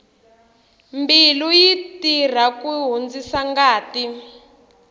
mbilu yi tirha ku hundzisa ngati